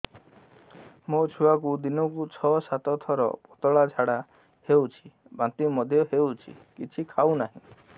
ମୋ ଛୁଆକୁ ଦିନକୁ ଛ ସାତ ଥର ପତଳା ଝାଡ଼ା ହେଉଛି ବାନ୍ତି ମଧ୍ୟ ହେଉଛି କିଛି ଖାଉ ନାହିଁ